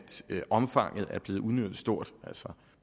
omfanget er blevet udnyttet stort altså